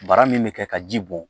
Bara min bɛ kɛ ka ji bɔn